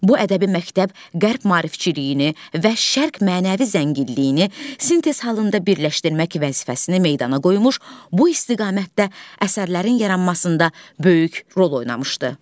Bu ədəbi məktəb Qərb maarifçiliyini və Şərq mənəvi zənginliyini sintez halında birləşdirmək vəzifəsini meydana qoymuş, bu istiqamətdə əsərlərin yaranmasında böyük rol oynamışdı.